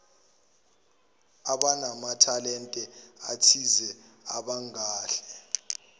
abanamathalente athize abangahle